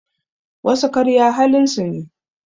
Wasu karya halin su ne